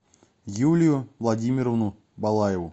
юлию владимировну балаеву